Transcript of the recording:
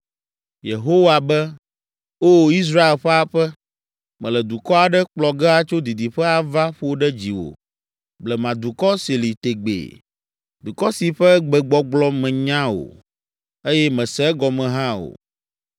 Yehowa be, “O Israel ƒe aƒe, mele dukɔ aɖe kplɔ ge atso didiƒe ava ƒo ɖe dziwò, blemadukɔ si li tegbee, dukɔ si ƒe gbegbɔgblɔ mènya o, eye mèse egɔme hã o.